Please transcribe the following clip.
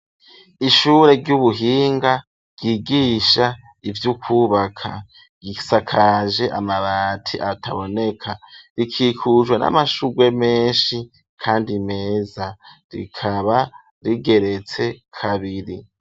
Ishure ry'ubuhinga ryigisha ivyukubaka isakaje amabati ataboneka rikikujwe n'amashurwe meshi kandi meza rikaba rigeretse kabiri.